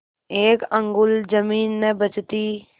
एक अंगुल जमीन न बचती